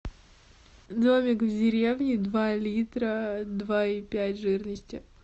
домик в деревне два литра два и пять жирности